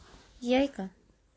яйко